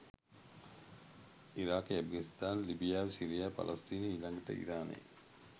ඉරාකෙ ඇෆ්ගනිස්ථානෙ ලිබියාවෙ සිරියාවෙ පලස්තීනෙ ඊලඟට ඉරානෙ